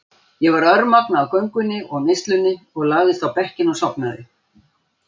Ég var örmagna af göngunni og neyslunni og lagðist á bekkinn og sofnaði.